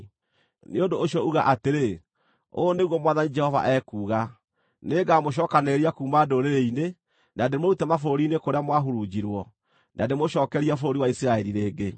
“Nĩ ũndũ ũcio uga atĩrĩ: ‘Ũũ nĩguo Mwathani Jehova ekuuga: Nĩngamũcookanĩrĩria kuuma ndũrĩrĩ-inĩ, na ndĩmũrute mabũrũri-inĩ kũrĩa mwahurunjirwo, na ndĩmũcookerie bũrũri wa Isiraeli rĩngĩ.’